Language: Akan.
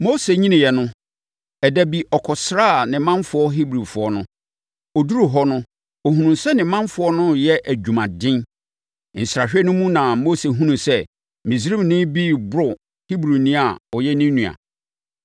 Mose nyiniiɛ no, ɛda bi, ɔkɔsraa ne manfoɔ Hebrifoɔ no. Ɔduruu hɔ no, ɔhunuu sɛ ne manfoɔ no reyɛ adwumaden. Nsrahwɛ no mu na Mose hunuu sɛ Misraimni bi reboro Hebrini a ɔyɛ ne nua.